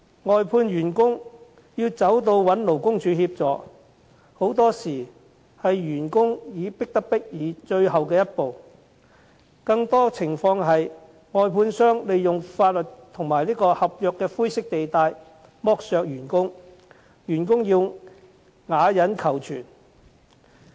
外判員工要尋求勞工處協助，很多時候也是員工迫不得已的最後一步，更多的情況是，外判商利用法律和合約的灰色地帶剝削員工，員工要啞忍求存。